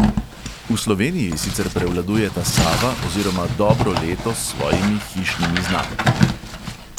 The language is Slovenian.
V sloveniji sicer prevladujeta sava oziroma dobro leto s svojimi hišnimi znamkami.